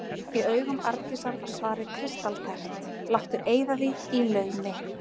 Í augum Arndísar var svarið kristaltært: Láttu eyða því í laumi.